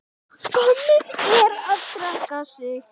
Ég spurði hana frétta.